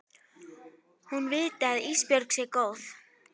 Hún viti að Ísbjörg sé góð.